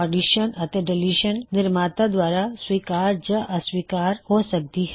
ਇਸ ਤਰੀਕੇ ਨਾਲ ਹਰ ਐੱਡਿਸ਼ਨ ਅਤੇ ਡਲਿਸ਼ਨ ਨਿਰਮਾਤਾ ਦੁਆਰਾ ਸਵੀਕਾਰ ਜਾਂ ਅਸਵੀਕਾਰ ਹੋ ਸਕਦੀ ਹੈ